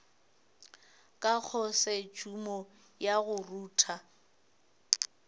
ka khosetšhumo ya go rutha